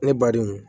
Ne ba denw